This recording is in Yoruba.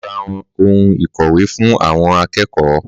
Màá rá oun ìkọ̀wé fún àwọn akẹ́kọ̀ọ́